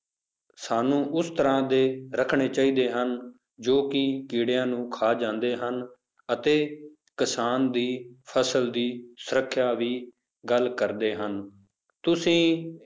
ਸਾਨੂੰ ਉਸ ਤਰ੍ਹਾਂ ਦੇ ਰੱਖਣੇ ਚਾਹੀਦੇ ਹਨ, ਜੋ ਕਿ ਕੀੜਿਆਂ ਨੂੰ ਖਾ ਜਾਂਦੇ ਹਨ ਅਤੇ ਕਿਸਾਨ ਦੀ ਫਸਲ ਦੀ ਸੁਰੱਖਿਆ ਵੀ ਗੱਲ ਕਰਦੇ ਹਨ, ਤੁਸੀਂ